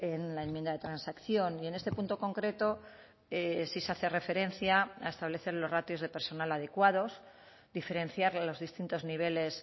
en la enmienda de transacción y en este punto concreto sí se hace referencia a establecer los ratios de personal adecuados diferenciar los distintos niveles